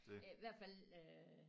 I hvert fald øh